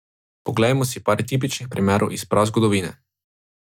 Poglejmo si le par tipičnih primerov iz prazgodovine.